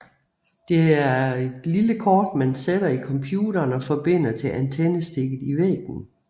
Det er et lille kort man sætter i computeren og forbinder til antennestikket i væggen